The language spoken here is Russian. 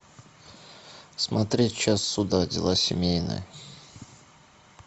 смотреть час суда дела семейные